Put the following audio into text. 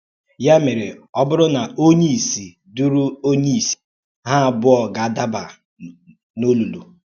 Ya mèrè, ọ ọ bùrù na ònyé-ìsì dùrù ònyé-ìsì, hà ábùà gādàbà n’òlùlù.